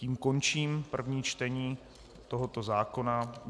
Tím končím první čtení tohoto zákona.